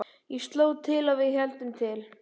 Ég sló til og við héldum til